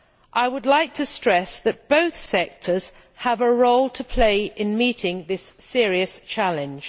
I would like to stress that both sectors have a role to play in meeting this serious challenge.